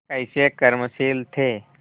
कैसे कर्मशील थे